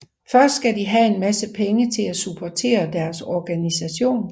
Først skal de have en masse penge til at supportere deres organisation